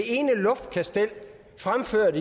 ene luftkastel fremført